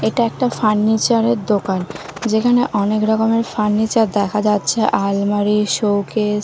এটা একটা ফার্নিচার -এর দোকান যেখানে অনেকরকম ফার্নিচার দেখা যাচ্ছে আলমারি শোকেস --